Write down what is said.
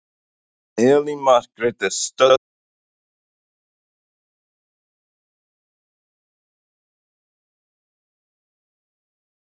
Elín Margrét er stödd fyrir utan nýja neyðarskýlið, hvenær verður nú skýlið tilbúið Elín Margrét?